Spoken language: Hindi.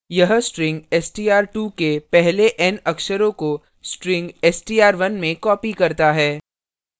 यह string str2 के पहले के n अक्षरों को string str1 में copies करता है